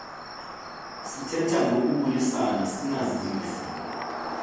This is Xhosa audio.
sithetha ngokubulisa sinazise